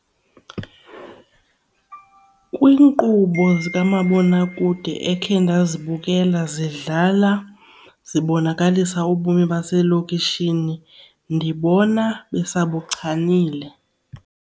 Kwiinkqubo zikamabonakude ekhe ndazibukela zidlala zibonakalisa ubomi baselokishini ndibona besabuchanile.